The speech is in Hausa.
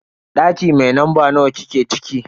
Daki mai lamba nawa kike ciki?